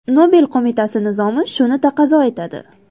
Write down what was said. Nobel qo‘mitasi nizomi shuni taqozo etadi.